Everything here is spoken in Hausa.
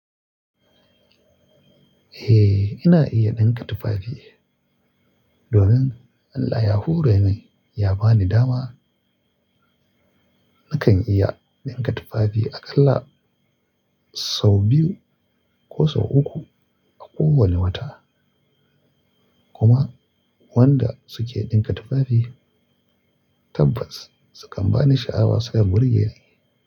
Eh, ina iya ɗinka tufafi. Domin Allah ya hore min ya ba ni dama, nakan iya ɗinka tufafi aƙalla sau biyu ko sau uku a kowane wata. Kuma wanda suke ɗinka tufafi tabbas sukan bani sha'awa sukan burgeni.